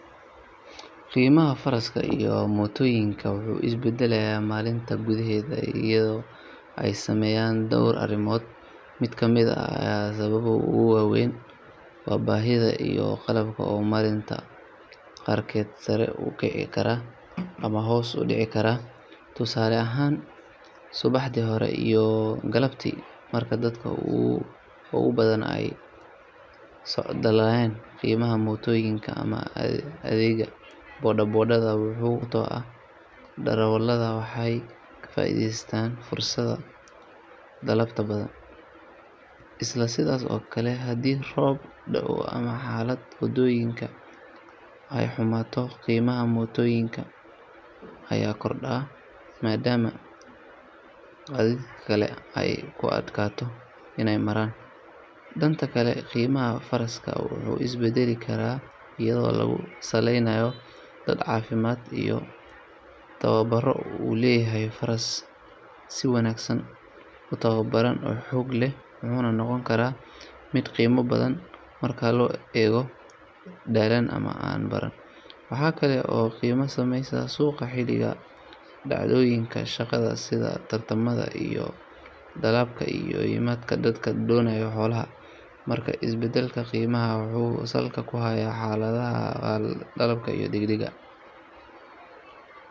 Qiimaha faraaska iyo mootooyinka wuxuu is beddelaa maalinta gudaheeda iyadoo ay saameeyaan dhowr arrimood. Mid ka mid ah sababaha ugu waa weyn waa baahida iyo dalabka oo maalinta qaarkeed sare u kici kara ama hoos u dhici kara. Tusaale ahaan, subaxdii hore iyo galabtii marka dadka ugu badan ay socdaalayaan, qiimaha mootooyinka ama adeegga boda boda wuxuu kordhaa sababtoo ah darawallada waxay ka faa’iideysanayaan fursadda dalabka badan. Isla sidaas oo kale, haddii roob da’o ama xaaladda waddooyinka ay xumaato, qiimaha mootooyinka ayaa kordha maadaama gaadiidka kale ay ku adkaato inay maraan. Dhanka kale, qiimaha faraaska wuxuu is beddeli karaa iyadoo lagu saleynayo da’da, caafimaadka iyo tababarka uu leeyahay. Faraas si wanaagsan u tababaran oo xoog leh wuxuu noqon karaa mid qiimo badan marka loo eego mid daallan ama aan baran. Waxaa kale oo qiimaha saameeya suuqa xilliga ah, dhacdooyinka dhaqanka sida tartamada iyo dalabka ka yimaada dadka doonaya xoolaha. Markaa is beddelka qiimaha wuxuu salka ku hayaa xaaladaha dhaqaale, dalabka, iyo deegaanka.